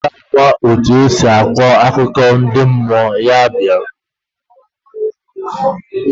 Onye obula ma etu esi akọ akụkọ ndị mmụọ, ya bịa.